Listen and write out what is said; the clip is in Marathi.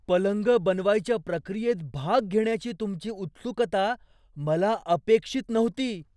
पलंग बनवायच्या प्रक्रियेत भाग घेण्याची तुमची उत्सुकता मला अपेक्षित नव्हती.